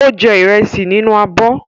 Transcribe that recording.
Ó jẹ ìrẹsì nínú abọ́.